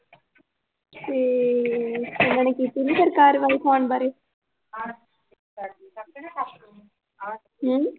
ਤੇ ਓਹਨਾ ਨੇ ਕੀਤੀ ਨੀ ਕਾਰਵਾਈ ਫੋਨ ਬਾਰੇ? ਹਮ